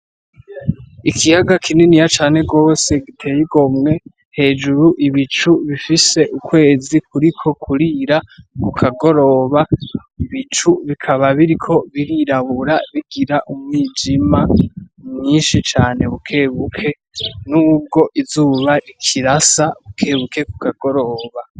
Ikiyaga kinini cane gose giteye igomye .Hejuru ibicu bifise ukwezi kuriko kurira kukagoroba .Ibicu bikaba biriko birirabura bigira umwijima mwinshi cane bukebuke n'ubwo izuba rikirasa bukebuke kukagoroba .